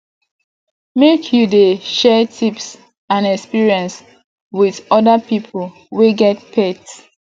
make you dey share tips and experience wit oda pipo wey get pet